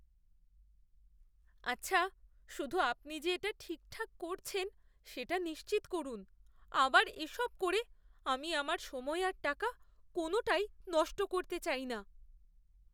আচ্ছা, শুধু আপনি যে এটা ঠিকঠাক করছেন সেটা নিশ্চিত করুন। আবার এসব করে আমি আমার সময় আর টাকা কোনওটাই নষ্ট করতে চাই না।